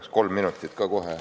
Palun kohe kolm minutit juurde.